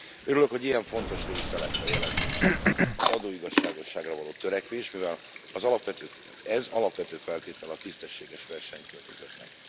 Örülök, hogy ilyen fontos része lett a jelentésnek az adóigazságosságra való törekvés, mivel ez alapvető feltétele a tisztességes versenykörnyezetnek.